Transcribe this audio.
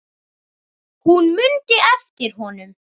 Hún mundi eftir honum.